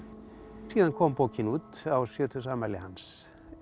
síðan kom bókin út á sjötugsafmæli hans